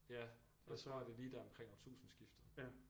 Ja jeg tror det er lige deromkring årtusindskiftet